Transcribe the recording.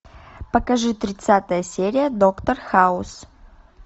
покажи тридцатая серия доктор хаус